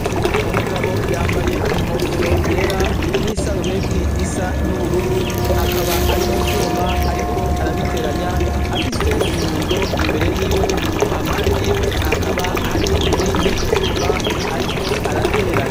Umugabo yambaye inkofero yera ,n'isarubeti isa n'ubururu akaba ari mu vyuma ariko arabiteranya ,afise inyundo imbere y'iwe hampande yiwe hakaba hari ibindi vyuma ariko arateranya.